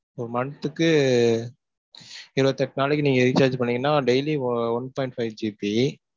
ஒரு month க்கு இருபத்து எட்டு நாளைக்கு நீங்க recharge பண்ணீங்கனா, daily one point five GB.